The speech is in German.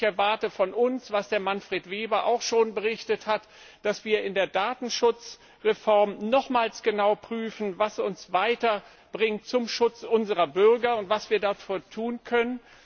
Ich erwarte von uns, was Manfred Weber auch schon berichtet hat, dass wir in der Datenschutzreform nochmals genau prüfen, was uns weiterbringt zum Schutz unserer Bürger und was wir dafür tun können.